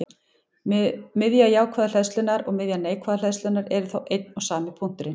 Miðja jákvæðu hleðslunnar og miðja neikvæðu hleðslunnar eru þá einn og sami punkturinn.